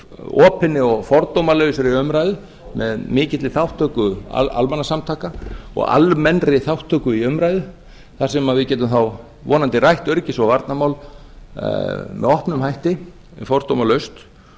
fyrir opinni og fordómalausri umræðu með mikilli þátttöku almannasamtaka og almennri þátttöku í umræðu þar sem við gætum þá vonandi rætt öryggis og varnarmál með opnum hætti fordómalaust